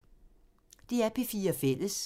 DR P4 Fælles